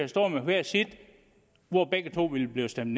stået med hvert sit og begge to ville blive stemt